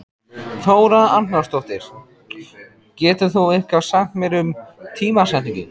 Þóra Arnórsdóttir: Getur þú eitthvað sagt um tímasetningu?